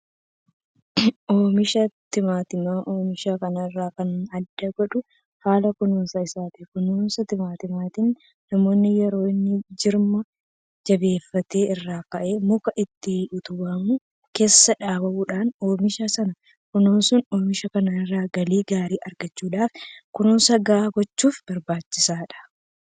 Oomisha Timaatimaa oomisha kaan irraa kan adda godhu haala kunuunsa isaati. Kunuunsa timaatimiitiif namoonni yeroo inni jirma jabeeffate irraa ka'anii muka ittiin utubamu keessa dhaabuudhaan oomisha sana kunuunsu. Oomisha kana irraa galii gaarii argachuudhaaf kunuunsa gahaa gochuufiin barbaachisaadha.